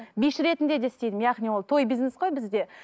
биші ретінде де істеймін яғни ол той бизнес қой бізде